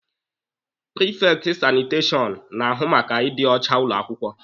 Prifekti sanitashọn na-ahụ maka ịdị ọcha ụlọ akwụkwọ.